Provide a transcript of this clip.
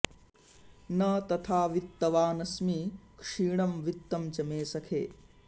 न तथा वित्तवानस्मि क्षीणं वित्तं च मे सखे